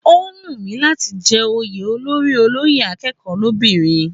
Ó wù mí láti jẹ́ oyè olórí olóyè akẹ́kọ̀ọ́ lóbìnrin